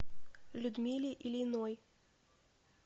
людмиле ильиной